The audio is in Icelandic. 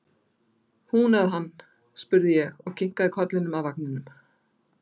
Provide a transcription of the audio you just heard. Hún eða hann? spurði ég og kinkaði kollinum að vagninum.